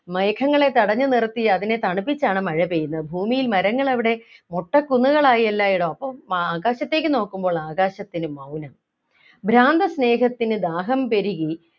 മേഘങ്ങളേ തടഞ്ഞു നിർത്തി അതിനെ തണുപ്പിച്ചാണ് മഴ പെയ്യുന്നത് ഭൂമിയിൽ മരങ്ങളെവിടെ മൊട്ടകുന്നുകളായി എല്ലായിടവും അപ്പൊ മ ആകാശത്തേക്ക് നോക്കുമ്പോൾ ആകാശത്തിനു മൗനം ഭ്രാന്ത സ്നേഹത്തിനു ദാഹം പെരുകി